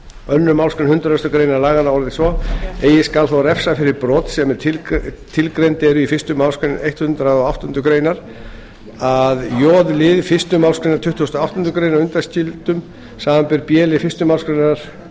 önnur málsgrein hundrað greinar laganna orðast svo eigi skal þó refsa fyrir brot sem tilgreind eru í fyrstu málsgrein hundrað og áttundu grein að j lið fyrstu málsgrein tuttugustu og áttundu greinar undanskildum samanber b lið fyrstu málsgrein